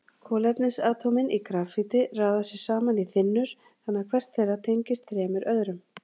Kolefnisatómin í grafíti raða sér saman í þynnur þannig að hvert þeirra tengist þremur öðrum.